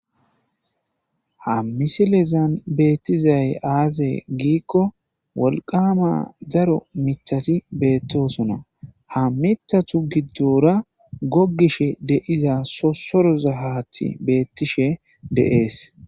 ha misilezan beettizay aaze giikko wolqama zaro mithasi beettosona ha mithatu giddora gogishe deiza sosoro za haati beettishe deees